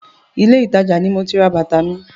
Ilé ìtajà náà ni moti ra bàtà mi.